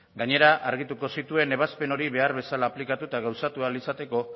gainera argituko zituen ebazpen hori behar bezala aplikatu eta gauzatu ahal izateko